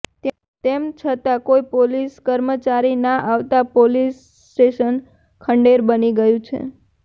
તેમ છતા કોઈ પોલીસ કર્મચારી ના આવતા પોલીસ સ્ટેશન ખંડેર બની ગયું છે